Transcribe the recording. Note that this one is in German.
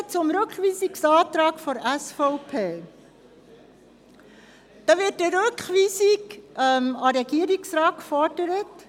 Zum Rückweisungsantrag der SVP: Hier wird eine Rückweisung an den Regierungsrat gefordert.